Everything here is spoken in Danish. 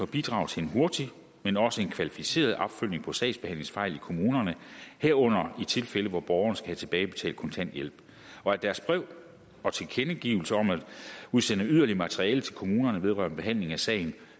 bidrage til en hurtig men også en kvalificeret opfølgning på sagsbehandlingsfejl i kommuner herunder i tilfælde hvor borgerne skal have tilbagebetalt kontanthjælp og at deres brev og tilkendegivelse om at udsende yderligere materiale til kommunerne vedrørende behandling af sagen